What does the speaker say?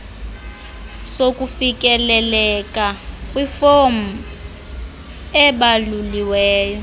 sokufikeleleka kwifomu ebaluliweyo